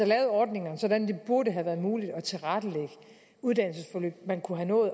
lavet ordningerne sådan at det burde have været muligt at tilrettelægge uddannelsesforløb man kunne have nået